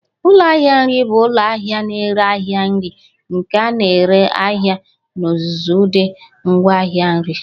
Ụlọ ahịa nri bụ ụlọ ahịa na-ere ahịa nri nke na-ere ahịa n'ozuzu ụdị ngwaahịa nri.